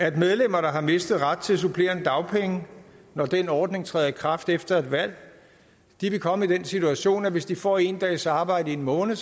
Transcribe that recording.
at medlemmer der har mistet ret til supplerende dagpenge når den ordning træder i kraft efter et valg vil komme i den situation at de hvis de får en dags arbejde i en måned